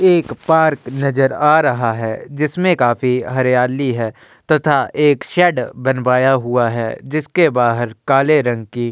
एक पार्क नजर आ रहा है। जिसमें काफी हरियाली है तथा एक शेड बनवाया हुआ है। जिसके बाहर काले रंग की --